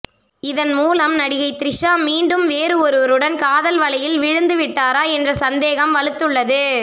இதன் மூலம் நடிகை த்ரிஷா மீண்டும் வேறு ஒருவருடன் காதல் வலையில் விழுந்து விட்டாரா என்ற சந்தேகம் வலுத்துள்ளது